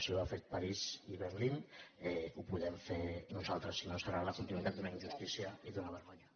si ho han fet parís i berlín ho podem nosaltres si no serà la continuïtat d’una injustícia i d’una vergonya